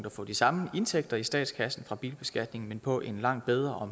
få de samme indtægter i statskassen fra bilbeskatningen men på en langt bedre og